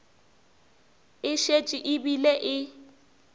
e šetše e bile e